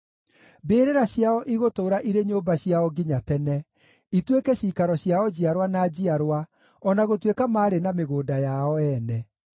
Mbĩrĩra ciao igũtũũra irĩ nyũmba ciao nginya tene, ituĩke ciikaro ciao njiarwa na njiarwa, o na gũtuĩka maarĩ na mĩgũnda yao ene.